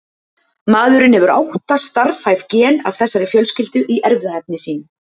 Maðurinn hefur átta starfhæf gen af þessari fjölskyldu í erfðaefni sínu.